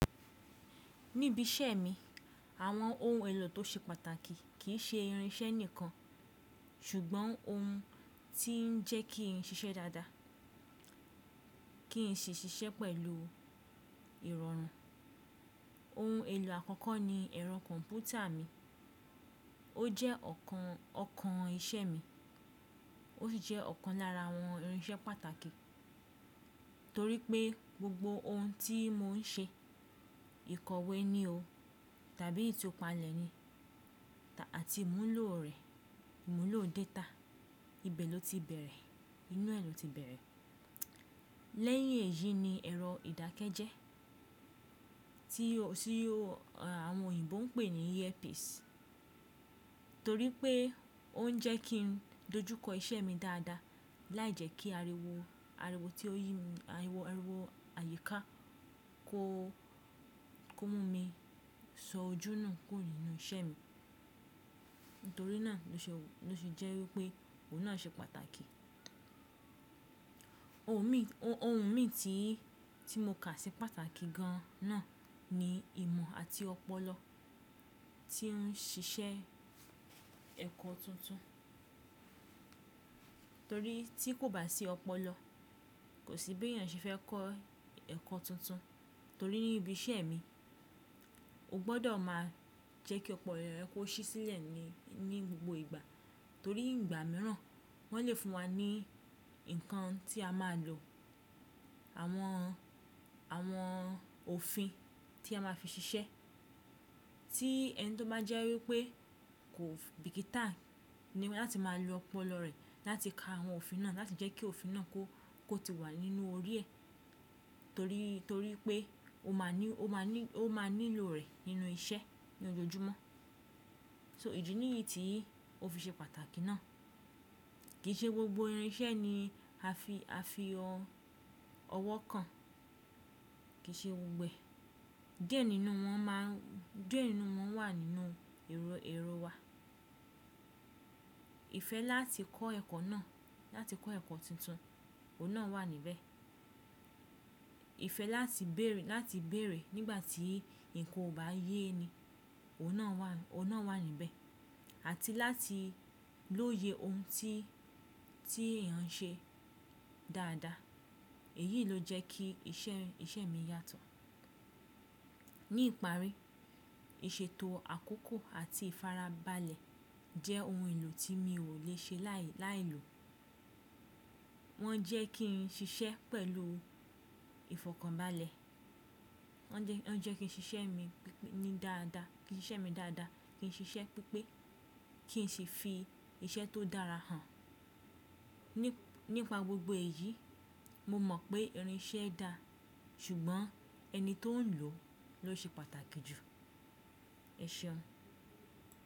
Níbi iṣẹ́ mi, àwọn ohun èlò tó ṣe pàtàkì kì í ṣe irinṣẹ́ nìkan, ṣùgbọ́n ohun tí ń jẹ́ kí n ṣiṣẹ́ dáadáa, kí n ṣeiṣiṣẹ́ pẹ̀lú ìrọ̀rùn. Ohun èlò àkọ́kọ́ ni ẹ̀rọ kọ̀m̀pútà mi. Ó jẹ́ ọ̀kan, ọ̀kan iṣẹ́ mi, ó sì jẹ́ ọ̀kan lára àwọn irinṣẹ́ pàtàkì torí pé gbogbo ohun tí mò ń ṣe, ìkọ̀wé ni o tàbí itupalẹ̀ ni àti ìmúlò rẹ̀, ìmúlò data, ibẹ̀ ló ti bẹ̀rẹ̀, inú ẹ̀ ló ti bẹ̀rẹ̀. Lẹ́yìn èyí ni ẹ̀rọ ìdákẹ́jẹ́, tí ó àwọn òyìnbó ń pè ní earpiece torí pé ó ń jẹ́ kí n dojúkọ iṣẹ́ mi dáadáa láìjẹ́kí àríwó, àríwó tí ó yí mi, àríwó, àríwó àyíká kó, kó mú mi sọ ojú nù kúrò nínú iṣẹ́ mi. Nítorí náà ló ṣe, ló ṣe jẹ́ wí pé òun náà ṣe pàtàkì. Ohun mi, ohun mi tí, tí mo kà ṣe pàtàkì gan náà ni ìmọ̀ àti ọpọlọ tí ń ṣiṣẹ́ ẹ̀kọ́ tuntun. Torí tí kò bá sí ọpọlọ, kò sí bí èèyàn ṣe fẹ́ kọ́ ẹ̀kọ́ tuntun. Torí ní ibi iṣẹ́ mi, o gbọ́dọ̀ máa jẹ́ kí ọpọlọ rẹ kó ṣí sílẹ̀ ni, ní gbogbo ìgbà. Torí ìgbà mìíràn wọ́n lè fún wa ní nǹkan tí a máa lò, àwọn, àwọn òfin tí a máa fi ṣiṣẹ́, tí ẹni tó bá jẹ́ wí pé kò bìkítà ni láti máa lo ọpọlọ rẹ̀ láti ka àwọn òfin náà, láti jẹ́ kí òfin náà kó, kó ti wà nínú orí ẹ̀ torí, torí pé ó máa ní, ó máa ní, ó máa nílò rẹ̀ nínú iṣẹ́ ní ojoojúmọ́. So ìdí níyì tí ó fi ṣe pàtàkì náà. Kì í ṣe gbogbo irinṣẹ́ ni a fi, a fi ọwọ́ kan, kì í ṣe gbogbo ẹ̀. Díẹ̀ nínú wọn máa ń, díẹ̀ nínú wọn wà nínú èrò, èrò wa. Ìfẹ́ láti kọ́ ẹ̀kọ́ náà, láti kọ́ ẹ̀kọ́ tuntun, òun náà wà níbẹ̀. Ìfẹ́ láti bèrè, láti bèrè nígbà tí nǹkan ò bá yé ni, òun náà wà, òun náà wà níbẹ̀ àti láti lóye ohun tí, tí èèyàn n ṣe dáadáa. Èyí ló jẹ́ kí iṣẹ́, iṣẹ́ mi yàtọ̀. Ní ìparí, ìṣètò àkókò àti ìfarabalẹ̀ jẹ́ ohun èlò tí mi ò lè ṣe láì, láì lo. Wọ́n jẹ́ kí n ṣiṣẹ́ pẹ̀lú ìfọ̀kànbalẹ̀. Wọ́n jẹ́, wọ́n jẹ́ kí n ṣiṣẹ́ mi ní dáadáa, kí n ṣiṣẹ́ mi dáadáa, kí n ṣiṣẹ́ pípé, kí n sì fi iṣẹ́ tó dára hàn. Nípa gbogbo èyí, mo mọ̀ pé irinṣẹ́ dá, ṣùgbọ́n ẹni tó ń lò ló ṣe pàtàkì jù. Ẹ ṣeun!